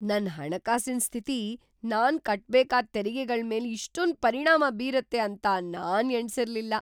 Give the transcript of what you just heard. ನನ್ ಹಣಕಾಸಿನ್‌ ಸ್ಥಿತಿ ನಾನ್ ಕಟ್ಬೇಕಾದ್ ತೆರಿಗೆಗಳ್ಮೇಲೆ ಇಷ್ಟೊಂದ್ ಪರಿಣಾಮ ಬೀರತ್ತೆ ಅಂತ ನಾನ್‌ ಎಣಿಸಿರ್ಲಿಲ್ಲ.